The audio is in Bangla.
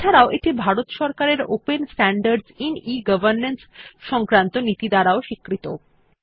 এছাড়াও এটি ভারত সরকারের open standards in e governance সংক্রান্ত নীতি দ্বারা স্বীকৃত